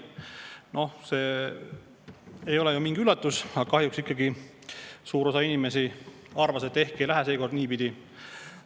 Noh, see ei ole ju mingi üllatus, aga kahjuks ikkagi suur osa inimesi arvas, et ehk ei lähe seekord niipidi.